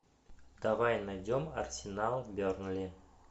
давай найдем арсенал бернли